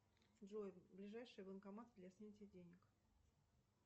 джой ближайший банкомат для снятия денег